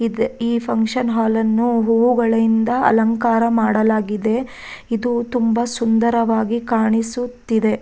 ಈ function hall ನ್ನು ಹೂವುಗಳಿಂದ ಅಲಂಕಾರ ಮಾಡಲಾಗಿದೆ ಇದು ತುಂಬಾ ಸುಂದರವಾಗಿ ಕಾಣಿಸುತ್ತಿದೆ.